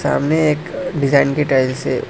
सामने एक डिजाइन की टाइल्स है।